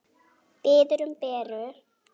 Biður um Beru.